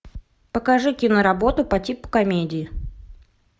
покажи киноработу по типу комедии